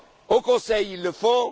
Au Conseil, ils le font.